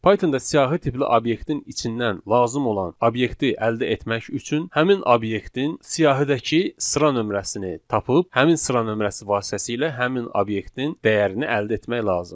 Pythonda siyahı tipli obyektin içindən lazım olan obyekti əldə etmək üçün həmin obyektin siyahıdakı sıra nömrəsini tapıb, həmin sıra nömrəsi vasitəsilə həmin obyektin dəyərini əldə etmək lazımdır.